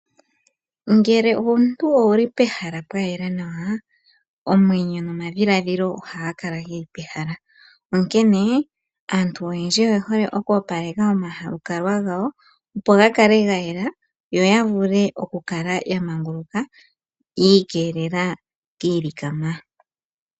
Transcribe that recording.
Ngele omuntu owuli pehala pwayela nawa omwenyo nomadhiladhilo ohaga kala guli pehala ,onkene aantu oyendji oyehole oku opaleka omalukalwa opo gakale gayela yo yavule okukala ya manguluka yi ikeelele kiilikama .